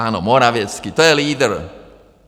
Ano, Morawiecki, to je lídr.